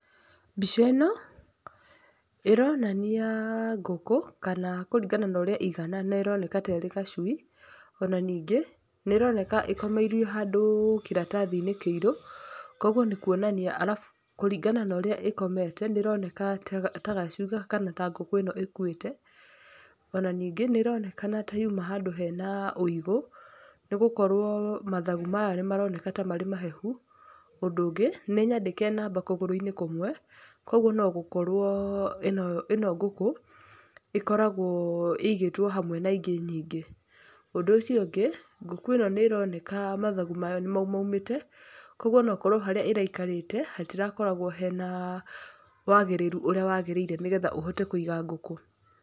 Mbica ĩno ĩronania ngũkũ, kana kũringana na ũrĩa ĩigana nĩroneka ta ĩrĩ gacui, ona ningĩ nĩĩroneka ĩkomeirio handũ kĩratathi kĩirũ, koguo nĩ kuonania, arabu kũringana na ũrĩa ĩkomete nĩĩroneka ta gacui kana ta ngũkũ ĩno ĩkuĩte. Ona ningĩ nĩĩronekana ta yuma handũ hena ũigũ, nĩgũkorwo mathagau mayo nĩmaroneka ta marĩ mahehu. Ũndũ ũngĩ nĩnyandĩke namba kũgũrũ-inĩ kũmwe, koguo no gũkorwo ĩno ĩno ngũkũ ĩkoragwo ĩigĩtwo hamwe na ingĩ nyingĩ. Ũndũ ũcio ũngĩ, ngũkũ ĩno nĩĩroneka mathagu mayo nĩmamaumĩte, koguo no gũkorwo harĩa ĩraikarĩte hatirakoragwo hena wagĩrĩru ũrĩa wagĩrĩire nĩguo ũhote kũiga ngũkũ.